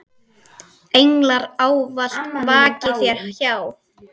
Englar ávallt vaki þér hjá.